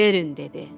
Verin, dedi.